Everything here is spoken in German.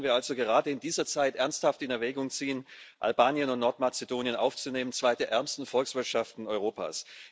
Warum sollten wir also gerade in dieser Zeit ernsthaft in Erwägung ziehen, Albanien und Nordmazedonien aufzunehmen, zwei der ärmsten Volkswirtschaften Europas?